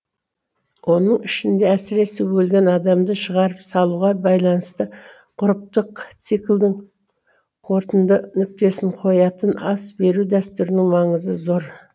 оның ішінде әсіресе өлген адамды шығарып салуға байланысты ғұрыптық циклдің қорытынды нүктесін қоятын ас беру дәстүрінің маңызы зор